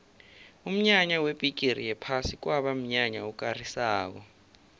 umnyanya webhigiri yephasi kwaba mnyanya okarisako